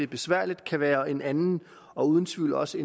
besværligt kan være en anden og uden tvivl også